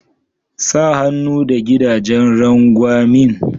Sa hannu da gidajen rangwamin.